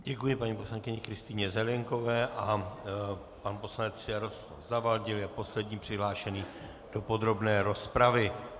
Děkuji paní poslankyni Kristýně Zelienkové a pan poslanec Jaroslav Zavadil je poslední přihlášený do podrobné rozpravy.